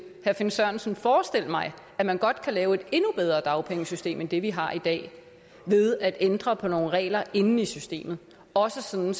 herre finn sørensen forestille mig at man godt kan lave et endnu bedre dagpengesystem end det vi har i dag ved at ændre på nogle regler inde i systemet også sådan